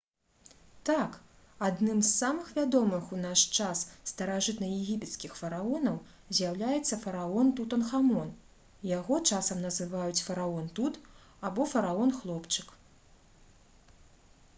так! адным з самых вядомых у наш час старажытнаегіпецкіх фараонаў з'яўляецца фараон тутанхамон яго часам называюць «фараон тут» або «фараон-хлопчык»